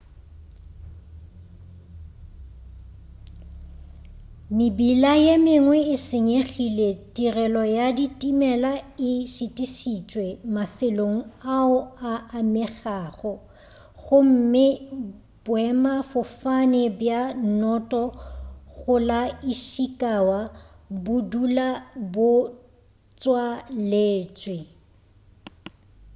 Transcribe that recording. mebila ye mengwe e senyegile tirelo ya ditimela e šitišitšwe mafelong ao a amegago gomme boemafofane bja noto go la ishikawa bo dula bo tswaletšwe